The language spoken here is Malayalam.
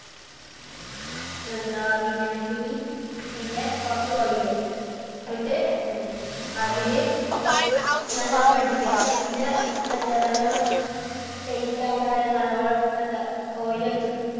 എന്താ വിനാഗിരി. പിന്നെ കുറച്ച് oil ഇട്ട് അതില് നല്ലോണം അടിക്ക. പിന്നെ എന്താ നല്ലോണം tight ആവണ വരെ നല്ലോണം എന്താ oil ഒഴിച്ചിട്ട്